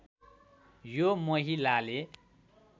यो महिलाले